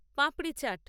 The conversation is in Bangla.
পাপড়ি চাট